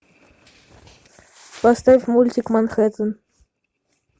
поставь мультик манхэттен